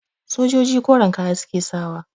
Sojoji koren kaya suke sakawa